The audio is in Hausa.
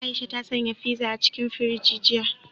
Aisha ta sanya fiza a cikin firiji jiya.